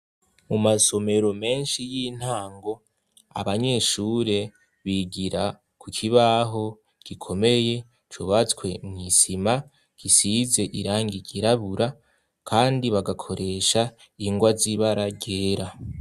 Mu masomero menshi y'intango abanyeshure bigira ku kibaho gikomeye cubatswe mw'isima gisize irangi ryirabura kandi bagakoresha ingwa z'ibara ryera.